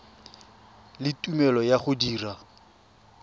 le tumelelo ya go dira